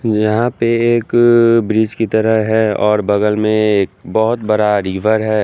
यहां पे एक ब्रिज की तरह है और बगल में एक बहुत बड़ा रिवर है।